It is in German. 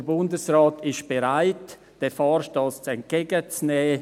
Der Bundesrat ist bereit, diesen Vorstoss entgegenzunehmen.